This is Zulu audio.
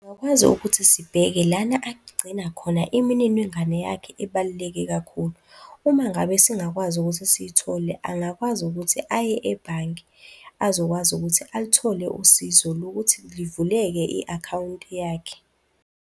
ukuthi sibheke lana agcina khona imininingwane yakhe ebaluleke kakhulu. Uma ngabe singakwazi ukuthi siyithole angakwazi ukuthi aye ebhange azokwazi ukuthi aluthole usizo lokuthi livuleke i-akhawunti yakhe.